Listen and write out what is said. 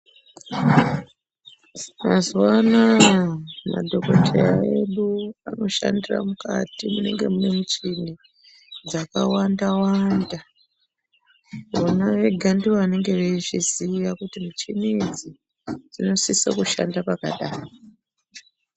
Mazuwanawa madhokotera edu anoshandira mukati munenge mune michini dzakawanda wanda vona vega ndivo vanenge veizviziya kuti michini idzi dzinosiso kushanda pakadai.